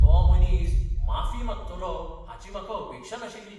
तो मनीस माफी मागतलो हाची म्हाका अपेक्षा नाशिल्ली.